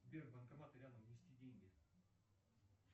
сбер банкоматы рядом внести деньги